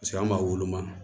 an b'a woloma